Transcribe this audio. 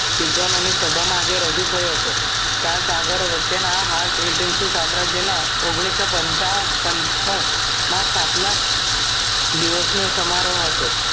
વિધ્નોને સભા માં આજે રજૂ થયો હતો ચાર સાગરો વચ્ચે ના હાલ સામ્રાજ્ય ના ઓગણીસો પંચાવન પંચસો માં સ્થાપના દિવશને સમારોહ હતો